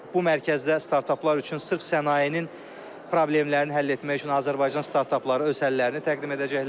Bu mərkəzdə startaplar üçün sırf sənayenin problemlərini həll etmək üçün Azərbaycan startapları öz həllərini təqdim edəcəklər.